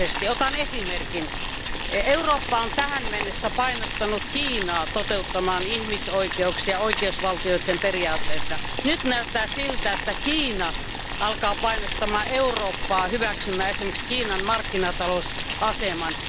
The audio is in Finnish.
Otan esimerkin Eurooppa on tähän mennessä painostanut Kiinaa toteuttamaan ihmisoikeuksia ja oikeusvaltioperiaatetta. Nyt näyttää siltä, että Kiina alkaa painostaa Eurooppaa hyväksymään esimerkiksi Kiinan markkinatalousaseman.